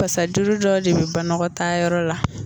Pasa juru dɔ de bɛ banɔgɔtaa yɔrɔ la